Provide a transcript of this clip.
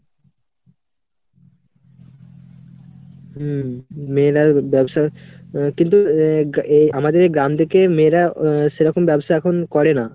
হম মেয়েরা ব্যবসা আহ কিন্তু আহ গা~ এই আমাদের এই গ্রাম থেকে মেয়েরা আহ সেরকম ব্যবসা এখন করে না।